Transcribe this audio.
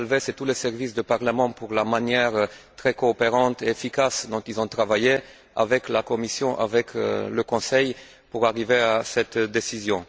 Alves et tous les services du Parlement pour la manière très coopérative et efficace dont ils ont travaillé avec la Commission et avec le Conseil, pour aboutir à cette décision.